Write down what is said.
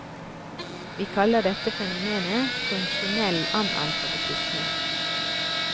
Vi kaller dette fenomenet funksjonell analfabetisme.